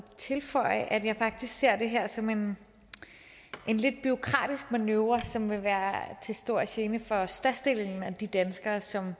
tilføje at jeg faktisk ser det her som en lidt bureaukratisk manøvre som vil være til stor gene for størstedelen af de danskere som